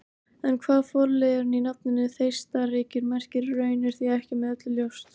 En hvað forliðurinn í nafninu Þeistareykir merkir í raun er því ekki með öllu ljóst.